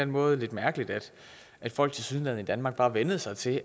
måde lidt mærkeligt at folk tilsyneladende i danmark bare vænnede sig til